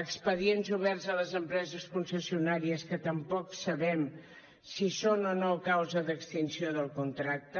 expedients oberts a les empreses concessionàries que tampoc sabem si són o no causa d’extinció del contracte